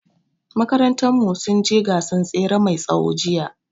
Makarantar mu sun je gasan tsere mai tsawo jiya